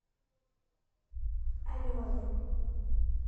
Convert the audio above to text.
алены